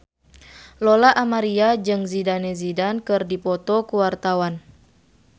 Lola Amaria jeung Zidane Zidane keur dipoto ku wartawan